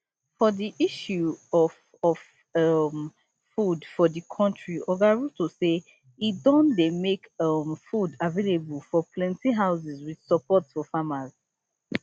for di issue of of um food for di country oga ruto say e don dey make um food available for plenti houses wit support for farmers